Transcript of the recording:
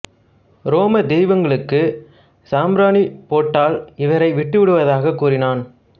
ரோமத் தெய்வங்களுக்கு சாம்பிராணிப் போட்டால் இவரை விட்டு விடுவதாகக் கூறினான்